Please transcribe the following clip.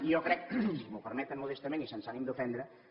i jo crec si m’ho permeten modestament i sense ànim d’ofendre